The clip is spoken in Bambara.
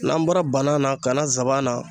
N'an bɔra banan na ka na sabanan na.